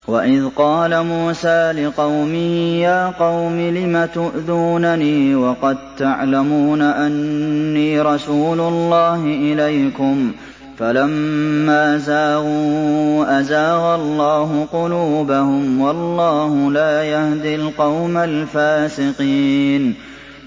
وَإِذْ قَالَ مُوسَىٰ لِقَوْمِهِ يَا قَوْمِ لِمَ تُؤْذُونَنِي وَقَد تَّعْلَمُونَ أَنِّي رَسُولُ اللَّهِ إِلَيْكُمْ ۖ فَلَمَّا زَاغُوا أَزَاغَ اللَّهُ قُلُوبَهُمْ ۚ وَاللَّهُ لَا يَهْدِي الْقَوْمَ الْفَاسِقِينَ